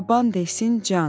Baban desin can.